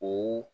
O